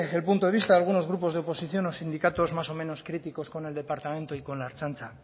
el punto de vista de algunos grupos de oposición los sindicatos más o menos críticos con el departamento y con al ertzaintza